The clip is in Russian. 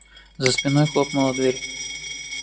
за спиной хлопнула дверь